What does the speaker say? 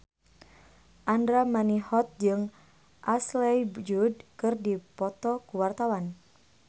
Andra Manihot jeung Ashley Judd keur dipoto ku wartawan